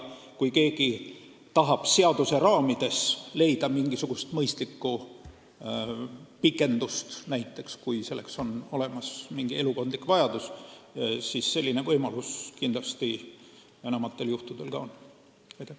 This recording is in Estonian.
Kui keegi tahab seaduse raamides mingisugusel mõistlikul põhjusel pikendust saada, näiteks kui selleks on elukondlik vajadus, siis selline võimalus on enamikul juhtudel ka olemas.